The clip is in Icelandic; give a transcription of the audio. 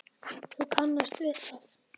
Þú kannast við það!